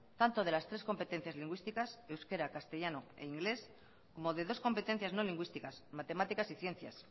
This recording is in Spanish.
tanto de las tres competencias lingüísticas de euskera castellano e inglés como de dos competencias no lingüísticas matemáticas y ciencias